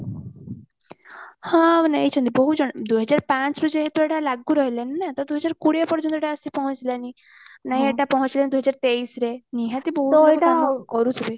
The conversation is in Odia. ହଁ ନେଇଚନ୍ତି ବହୁତ ଜଣ ଦୁଇ ହଜାର ପାଞ୍ଚରୁ ଯେହେତୁ ଏଟା ଲାଗୁ ରହିଲାଣି ନାଁ ତ ଦୁଇହଜାର କୋଡିଏ ପର୍ଯ୍ୟନ୍ତ ଏଟା ଆସି ପହଞ୍ଚିଲାଣି ନାଇଁ ଏତ ପହଞ୍ଚିଲାଣି ଦୁଇ ହଜାର ତେଇଶିରେ ନିହାତି ବହୁତ ଲୋକ କାମ କରୁଥିବେ